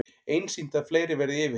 Einsýnt að fleiri verði yfirheyrðir